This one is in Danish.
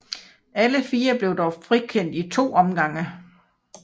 Alle fire blev dog frikendt i to omgange